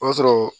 O y'a sɔrɔ